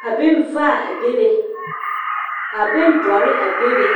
ka benvaa a bebe ka bendɔre a bebe .